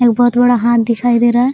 एक बहुत बड़ा हाथ दिखाई दे रहा है ।